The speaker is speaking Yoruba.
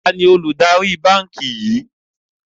Taàní olùdarí báńkì yìí?